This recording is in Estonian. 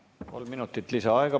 Kolm minutit lisaaega.